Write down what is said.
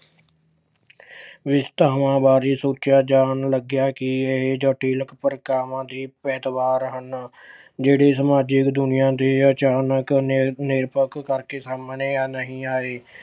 ਬਾਰੇ ਸੋਚਿਆ ਜਾਣ ਲੱਗਿਆ ਕਿ ਇਹ ਜਟਿਲ ਪ੍ਰਕਿਰਿਆਵਾਂ ਦੇ ਹਨ। ਜਿਹੜੇ ਸਮਾਜਿਕ ਦੁਨਿਆਂ ਦੇ ਅਚਾਨਕ ਨਿਰ ਅਹ ਨਿਰਪੱਖ ਸਾਹਮਣੇ ਨਹੀਂ ਆਏ